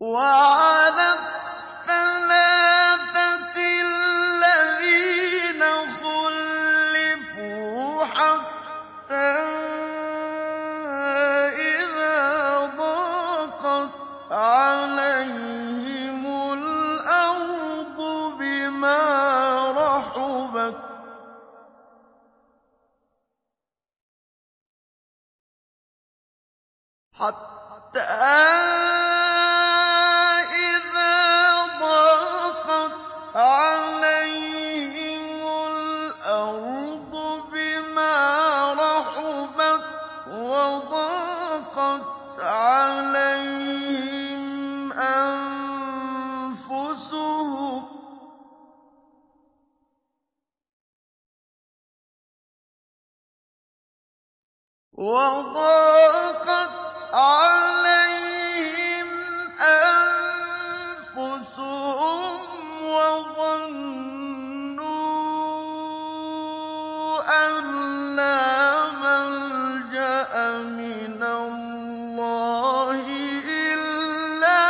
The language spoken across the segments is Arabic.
وَعَلَى الثَّلَاثَةِ الَّذِينَ خُلِّفُوا حَتَّىٰ إِذَا ضَاقَتْ عَلَيْهِمُ الْأَرْضُ بِمَا رَحُبَتْ وَضَاقَتْ عَلَيْهِمْ أَنفُسُهُمْ وَظَنُّوا أَن لَّا مَلْجَأَ مِنَ اللَّهِ إِلَّا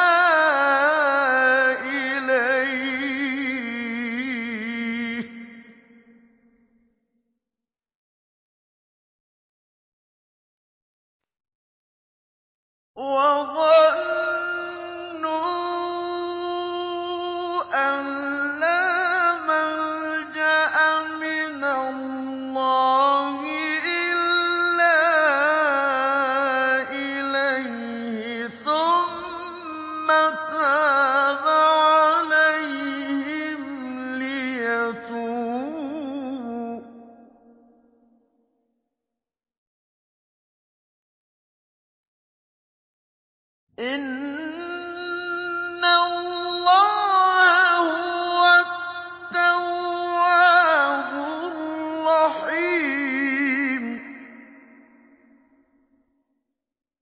إِلَيْهِ ثُمَّ تَابَ عَلَيْهِمْ لِيَتُوبُوا ۚ إِنَّ اللَّهَ هُوَ التَّوَّابُ الرَّحِيمُ